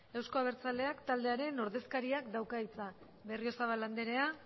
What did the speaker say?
eusko abertzaleak taldearen ordezkariak dauka hitza berriozabal anderea